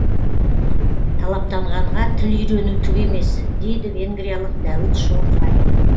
талаптанғанға тіл үйрену түк емес дейді венгриялық дәуіт шомфай